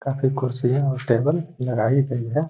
काफ़ी कुर्सियां और टेबल लगाई गई हैं।